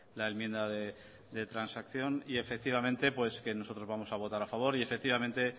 la enmienda de transacción y efectivamente pues que nosotros vamos a votar a favor y efectivamente